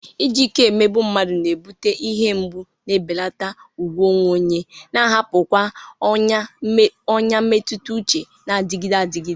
Iji ike emegbu mmadụ na-ebute ihe mgbu, na-ebelata ùgwù onwe onye, na-ahapụkwa ọnyá mmetụta uche na-adịgide adịgide.